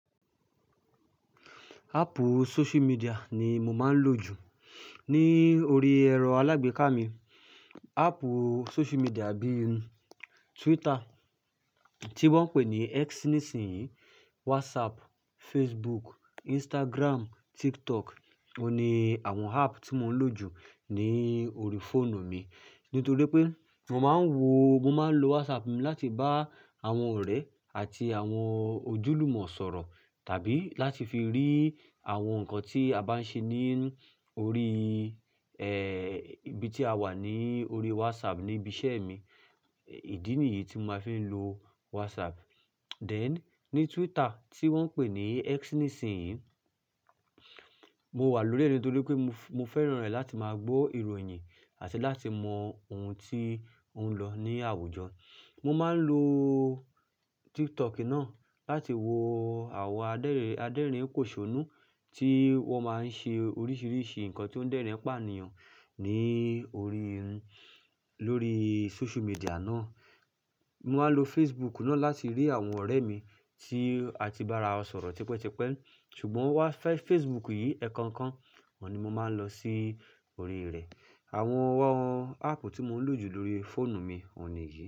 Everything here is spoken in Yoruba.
Ápù social media ni mo máa ń lò jù ní orí ẹ̀rọ alágbèéká mi. Ápù social media bíi Twitter tí wọ́n pè ní X nísìnyí, WhatsApp, Facebook, Instagram, TikTok. Ó ní àwọn ápù tí mo ń lò jù ní orí fóònù mi. Nítorí pé mo máa ń wo, mo máa ń lo WhatsApp mi láti bá àwọn ọ̀rẹ́ àti àwọn ojúlùmọ̀ sọ̀rọ̀ tàbí láti fi rí àwọn nǹkan tí a bá ń ṣe ní orí, eh, ibi tí a wà ní orí WhatsApp níbi iṣẹ́ mi. Ìdí nìyí tí ma fi ń lo WhatsApp. Then, ní Twitter tí wọ́n pè ní X nísìnyí, mo wà lórí rẹ̀ nítorí pé mo, mo fẹ́ràn rẹ̀ láti máa gbó ìròyìn àti láti mọ ohun tí ó ń lọ ní àwùjọ. Mo máa ń lo TikTok náà láti wo àwọn adẹ́rin, aderin póṣonú tí wọ́n máa ń ṣe oríṣiríṣi nǹkan tí ó ń dẹ́rìn-ín pàníyàn ní orí, lórí social media náà. Mo máa ń lo Facebook náà láti rí àwọn ọ̀rẹ́ mi tí a ti bá ra ọ sọ̀rọ̀ tẹpẹ́tipẹ́. Ṣùgbọ́n wá fẹ́ Facebook yìí, ẹ̀ẹ̀kan kan wọ́n ni mo máa ń lọ sí orí rẹ̀. Àwọn ápù tí mo ń lò jù lórí fóònù mi, òun ni yìí.